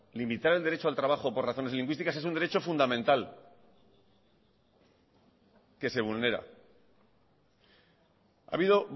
limitar el derecho al trabajo por razones lingüísticas es un derecho fundamental que se vulnera ha habido